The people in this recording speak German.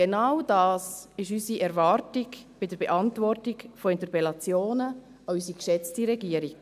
Genau das ist unsere Erwartung bei der Beantwortung von Interpellationen an unsere geschätzte Regierung.